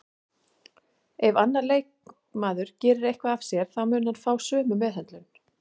Ef annar leikmaður gerir eitthvað af sér þá mun hann fá sömu meðhöndlun